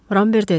Ramber dedi.